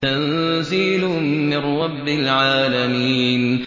تَنزِيلٌ مِّن رَّبِّ الْعَالَمِينَ